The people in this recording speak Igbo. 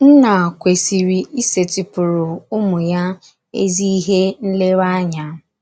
Nna kwesịrị ịsetịpụrụ ụmụ ya ezi ihe nlereanya.